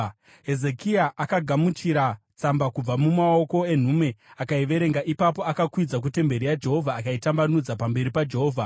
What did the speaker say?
Hezekia akagamuchira tsamba kubva mumaoko enhume, akaiverenga. Ipapo akakwidza kutemberi yaJehovha akaitambanudza pamberi paJehovha.